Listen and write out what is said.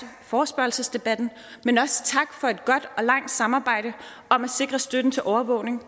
forespørgselsdebatten men også tak for et godt og langt samarbejde om at sikre støtten til overvågning